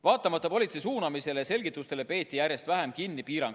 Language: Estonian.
Vaatamata politsei suunamisele ja selgitustele peeti piirangutest järjest vähem kinni.